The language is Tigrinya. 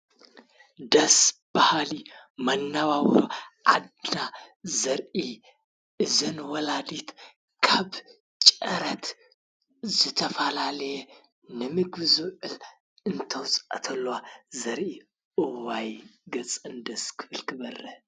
ደስ ባሃሊ መነባብሮ ዓድና ዘርኢ እዘን ወላዲት ካብ ጨረት ዝተፈላለየ ንምግቢ ዝውዕል እተውፅኣ ከለዋ ዘርኢ እዋይ! ገፀን ደስ ክብል ክበርህ።